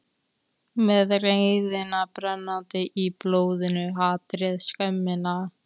Með reiðina brennandi í blóðinu, hatrið, skömmina.